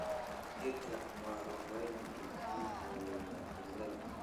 Geedka mwarobaini wuxuu daweeyaa cudurada.